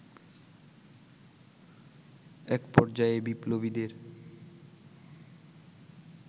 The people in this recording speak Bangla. এক পর্যায়ে বিপ্লবীদের